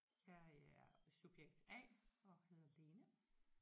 Jeg er subjekt A og hedder Lene